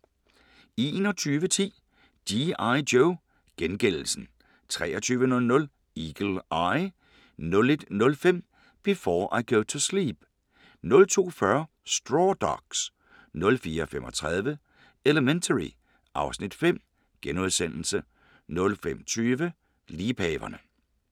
21:10: G.I. Joe: Gengældelsen 23:00: Eagle Eye 01:05: Before I Go to Sleep 02:40: Straw Dogs 04:35: Elementary (Afs. 5)* 05:20: Liebhaverne